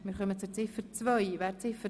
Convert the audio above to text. Wir stimmen über Ziffer 2 ab.